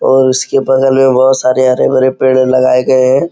और उसके बगल में बहोत सारे हरे-भरे पेड़ लगाए गए हैं।